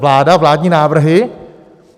Vláda, vládní návrhy?